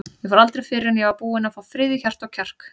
Ég fór aldrei fyrr en ég var búinn að fá frið í hjarta og kjark.